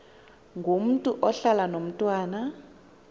ngomntu ohlala nomntwana